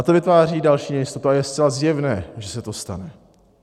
A to vytváří další nejistotu, a je zcela zjevné, že se to stane.